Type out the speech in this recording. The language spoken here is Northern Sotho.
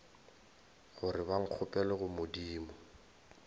gore ba nkgopelele go modimo